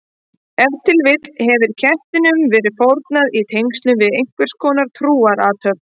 Ef til vill hefur kettinum verið fórnað í tengslum við einhverskonar trúarathöfn.